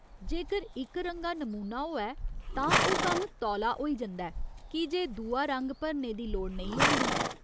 जेकर इकरंगा नमूना होऐ तां ओह् कम्म् तौला होई जंदा ऐ की जे दूआ रंग भरने दी लोड़ नेईं होंदी।